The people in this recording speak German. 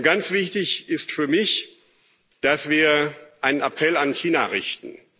Ganz wichtig ist für mich, dass wir einen Appell an China richten.